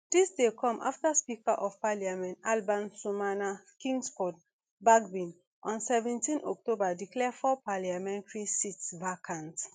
dis dey come afta speaker of parliament alban sumana kingsford bagbin on seventeen october declare four parliamentary seats vacant